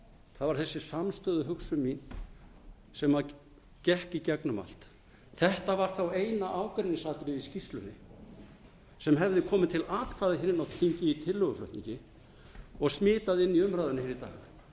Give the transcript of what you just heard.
það var þessi samstöðuhugsun mín sem gekk í gegnum allt þetta var þá eina ágreiningsatriðið í skýrslunni sem hefði komið til atkvæða inni á þingi í tillöguflutningi og smitaði inn í umræðuna í